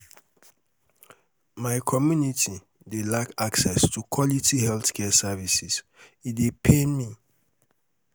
my um um community dey lack access to quality healthcare services um e dey pain um me.